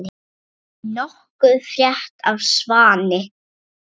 Nokkuð frétt af Svani?